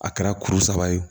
A kɛra kuru saba ye